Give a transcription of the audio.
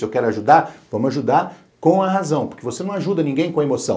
Se eu quero ajudar, vamos ajudar com a razão, porque você não ajuda ninguém com a emoção.